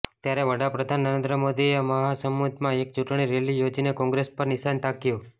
ત્યારે વડાપ્રધાન નરેન્દ્ર મોદીએ મહાસમુંદમાં એક ચૂંટણી રેલી યોજીને કોંગ્રેસ પર નિશાન તાક્યું